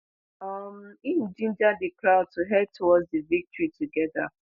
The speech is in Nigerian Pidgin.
um im ginger di crowd to head towards di victory togeda